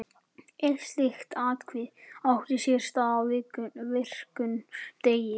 Eitt slíkt atvik átti sér stað á virkum degi.